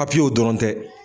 Papiye o dɔrɔn tɛ.